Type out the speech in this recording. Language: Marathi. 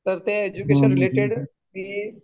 तर त्या एज्युकेशन रिलेटेड तुझी